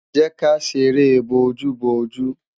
jẹ ká ṣeré bo oju bo oju